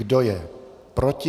Kdo je proti?